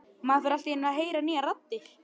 Maður fer allt í einu að heyra nýjar raddir.